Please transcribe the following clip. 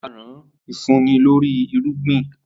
Aràn ifunni lori irugbin.